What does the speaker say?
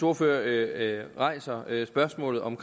ordfører rejser spørgsmålet om